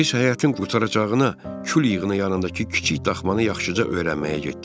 Biz həyətin qurtaracağına kül yığına yanındakı kiçik daxmanı yaxşıca öyrənməyə getdik.